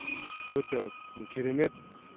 өте керемет